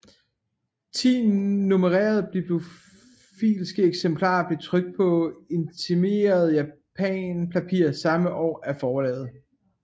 Ti nummererede bibliofiliske eksemplarer blev trykt på imiteret japanpapir samme år af forlaget